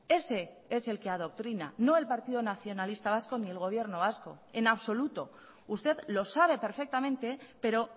ese es el que adoctrina no el partido nacionalista vasco ni el gobierno vasco en absoluto usted lo sabe perfectamente pero